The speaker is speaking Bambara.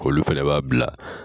Olu fɛnɛ b'a bila